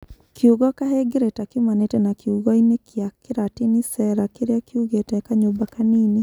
Kiugo kahengereta kiumanĩte na kiugo-inĩ kĩa Kĩratini cella kĩrĩa kiugĩte kanyũmba kanini.